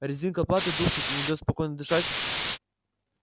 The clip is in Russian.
резинка платы душит и не даёт спокойно дышать